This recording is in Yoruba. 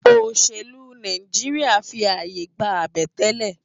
Óṣélú Náijiriá fi áyé gbá àbẹ̀tẹ́lẹ̀